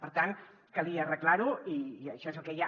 per tant calia arreglar ho i això és el que hi ha